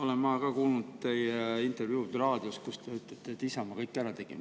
Ka mina olen kuulnud raadiost teie intervjuud, kus te ütlete, et Isamaa kõike tegi.